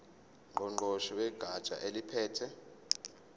ngqongqoshe wegatsha eliphethe